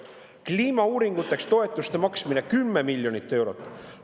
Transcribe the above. Kliimauuringuteks makstakse toetust 10 miljonit eurot.